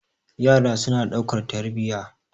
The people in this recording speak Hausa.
yara suna daukar tarbiya